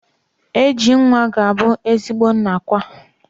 AG nwa ga-abu ezigbo nna kwa.